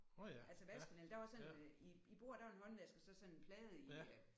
Altså vasken eller der var sådan i i bordet der var en håndvask og så sådan en plade i øh